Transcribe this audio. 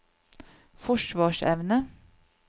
forsvarsevne